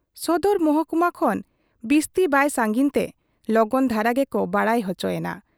ᱥᱚᱫᱚᱨ ᱢᱚᱦᱠᱩᱢᱟ ᱠᱷᱚᱱ ᱵᱤᱥᱛᱤ ᱵᱟᱭ ᱥᱟᱺᱜᱤᱧ ᱛᱮ ᱞᱚᱜᱚᱱ ᱫᱷᱟᱨᱟ ᱜᱮᱠᱚ ᱵᱟᱰᱟᱭ ᱚᱪᱚᱭᱮᱱᱟ ᱾